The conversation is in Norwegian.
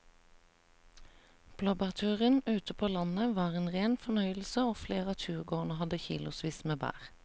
Blåbærturen ute på landet var en rein fornøyelse og flere av turgåerene hadde kilosvis med bær.